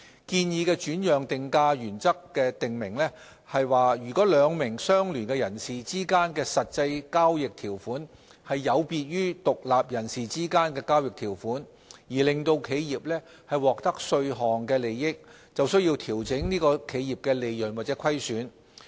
建議的轉讓定價原則訂明，如果兩名相聯人士之間的實際交易條款有別於獨立人士之間的交易條款，並因而令企業獲得稅項利益，便須調整該企業的利潤或虧損。